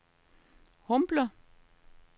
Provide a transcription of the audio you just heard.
Humble